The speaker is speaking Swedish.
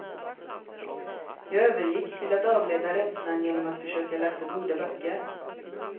Jag övergick till att avleda rädslan genom att försöka läsa goda böcker.